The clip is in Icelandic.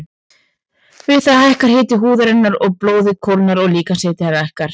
Við það hækkar hiti húðarinnar og blóðið kólnar og líkamshitinn lækkar.